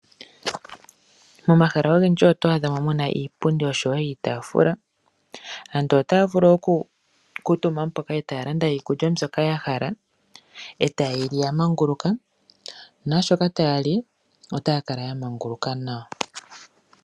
Momahala ogendji oto adha mo muna iipundi oshowo iitafula. Aantu otaya vu okukutumba mpoka e taya landa iikulya mbyoka ya hala, e taye yili ya manguluka, nashoka taya li otaya kala ya manguluka nawa.